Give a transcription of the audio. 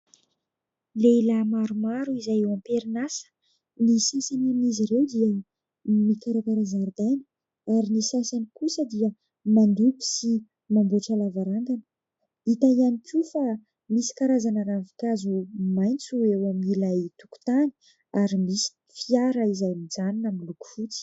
Lehilahy maromaro izay eo am-perinasa, ny sasany amin'izy ireo dia mikarakara zaridaina ary ny sasany kosa dia mandoko sy mamboatra lavarangana, hita ihany koa fa misy karazana ravinkazo maintso eo amin'ilay tokontany ary misy fiara izay mijanona miloko fotsy.